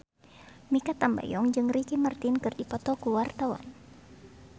Mikha Tambayong jeung Ricky Martin keur dipoto ku wartawan